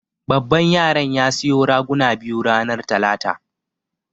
Baban yaran ya siyo raguna biyu ranar talata.